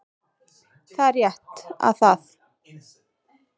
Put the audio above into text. Það er rétt að það